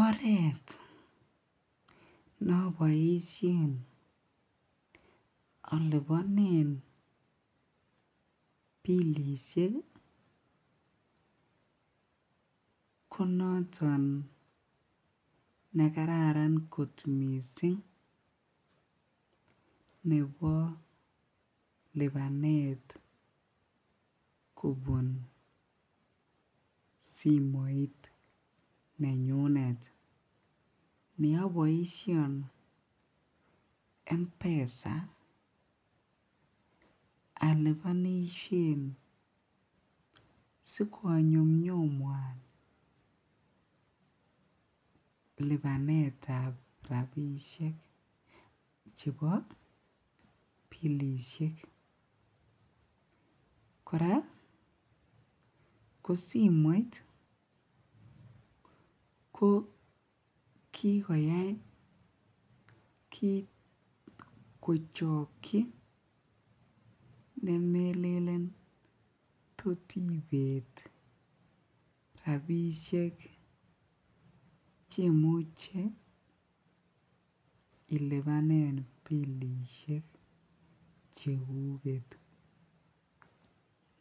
Oreet noboishen olibonen bilishek ko noton nekararan kot mising nebo libanet kobun simoit nenyunet ne oboishen mpesa alibonishen si ko nyumnyumwan libanetab rabishek chebo bilishek, kora ko simoit ko kikoyai kiit kochokyi ne melelen tot ibeet rabishek chemuche ilibanen bilishek chekuket,